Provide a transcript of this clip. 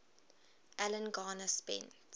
alan garner spent